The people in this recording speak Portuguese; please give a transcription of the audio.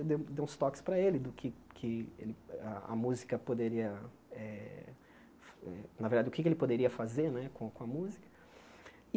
Eu dei dei uns toques para ele do que que a música poderia eh ... Na verdade, o que ele poderia fazer né com a com a música.